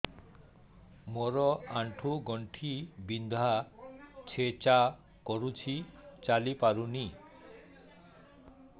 ମୋର ଆଣ୍ଠୁ ଗଣ୍ଠି ବିନ୍ଧା ଛେଚା କରୁଛି ଚାଲି ପାରୁନି